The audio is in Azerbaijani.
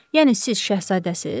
Yəni siz Şəhzadəsiz?